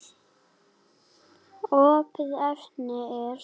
Opið efni er